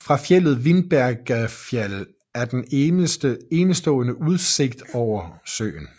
Fra fjeldet Vindbergjarfjall er der en enestående udsigt ud over søen